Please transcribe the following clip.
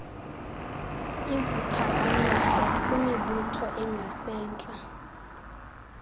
iziphakamiso kwimibutho engasentla